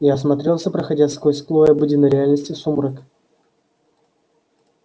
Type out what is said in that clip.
я осмотрелся проходя сквозь слой обыденной реальности в сумрак